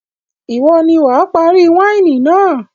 Ìwọ ni wà á parí wáìnì náà.